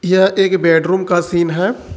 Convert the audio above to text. यह एक बेडरूम का सीन है।